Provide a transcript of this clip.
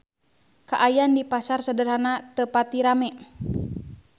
Kaayaan di Pasar Sederhana teu pati rame